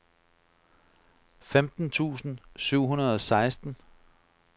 femten tusind syv hundrede og seksten